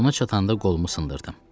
Ona çatanda qolumu sındırdım.